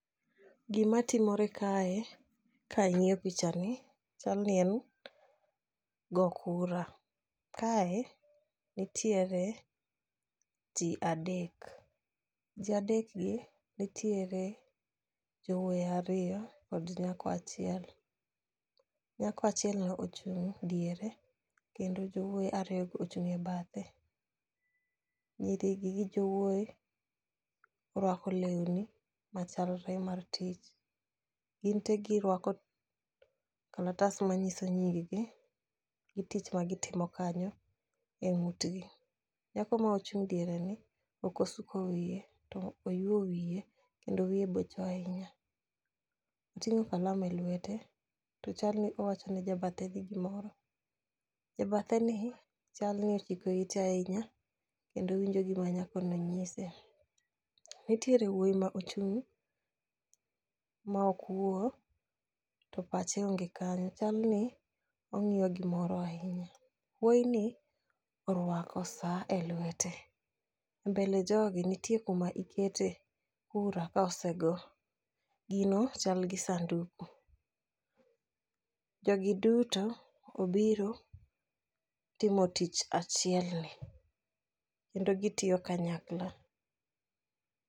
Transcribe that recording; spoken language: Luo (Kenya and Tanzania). Gima timore kae, kang'iyo pichani, chalni en go kura. Kae nitiere ji adek. Ji adekgi, nitiere jowoi airo kod nyako achiel. Nyako achielni ochung' diere, kendo jowoyi ariyogi ochung' e badhe. Nyirigi gi jowoi, orwako leuni machalre mar tich. Ginte giruako kalatas manyiso nying gi tich magitimo kanyo e ng'utgi. Nyako mochung' diereni okosuko wie, to oyuo wiye kendo wiye bocho ahinya. Oting'o kalam e lwete, to chalni owachone jabatheni gimoro. Jabatheni chalni ochiko ite ahinya, kendo winjo gima nyakoni nyise. Nitiere wuoi ma ochung' ma okwo, to pache onge kanyo, chalni ong'iyo gimoro ahinya. Wuoini oruako saa e lwete. E mbel e jogi nitie kuma ikete kura ka osego, gino chalgi sanduku. Jogi duto obiro timo tich achielni, kendo gitiyo kanyakla.